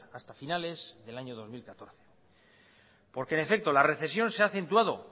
hasta finales del año dos mil catorce porque en efecto la recesión se ha acentuado